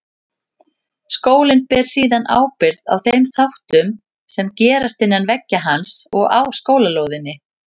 Skólinn ber síðan ábyrgð á þeim þáttum sem gerast innan veggja hans og á skólalóðinni.